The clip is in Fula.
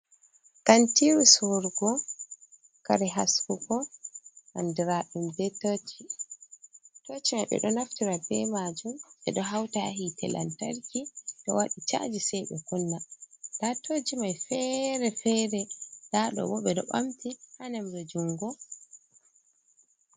Kantiru sorugo kare haskugo andiraɗum be toci. toci mai ɓeɗo naftira be majum, ɓeɗo hauta hite lantarki, ɗo waɗe chaji sai ɓe kunna. nda toci mai fere-fere ndaɗo bo ɓeɗo ɓamti ha nemre jungo.